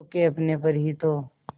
खो के अपने पर ही तो